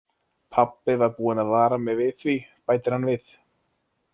Pabbi var búinn að vara mig við því, bætir hann við.